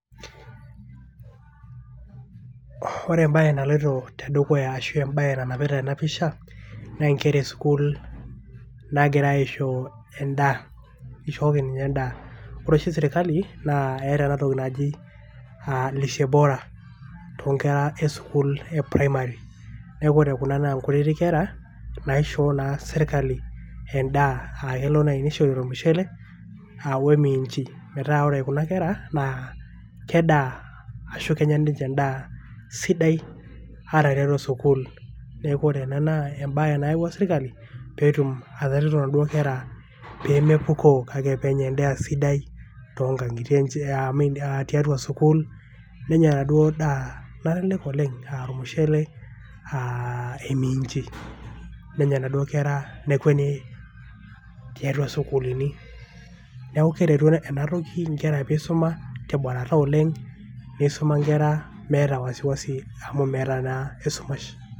ore embae naloito tedukuya ashu embae nanapiata ena pisha naa nkera e sukul nagirae aisho endaa ishooki ninche endaa. ore oshi sirkali naa eeta enatoki naji lishe bora inkera esukuul e primary. niak ore kuna naa kutitik kera naishoo naa sirkali endaa .kelo nai nishori ormushele a ominchi . metaa ore kuna kera naa kedaa ashu kenya ninche endaa sidai ata tiatua sukuul .niaku ore ena naa embae nayawua sirkali petum atareto naduoo kera pemepukoo kake penya endaa sidai toonkangitie enche aamin tiata sukuul .nenya enaduoo daa nalelek oleng aa ormushele aa eminchi nenya inaduoo kera nekweni tiatua sukulini .niaku keretu ena toki inkera pisuma te mborata oleng ,neisuma inkera meeta wasiwasi amu meeta naa esumash.